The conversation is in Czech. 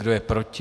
Kdo je proti?